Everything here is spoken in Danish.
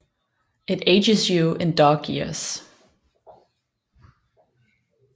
It ages you in dog years